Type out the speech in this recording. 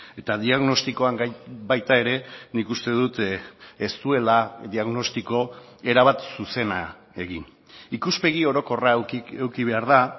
eta diagnostikoan baita ere nik uste dut ez duela diagnostiko erabat zuzena egin ikuspegi orokorra eduki behar da